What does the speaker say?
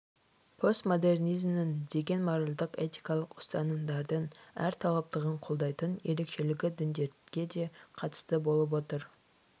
постмодернизмнің деген моральдік-этикалық ұстанымдардың әр тараптылығын қолдайтын ерекшелігі діндерге де қатысты болып отыр